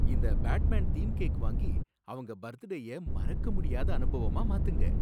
இந்த Batman theme cake வாங்கி அவங்க பர்த்டேய மறக்கமுடியாத அனுபவமா மாத்துங்க!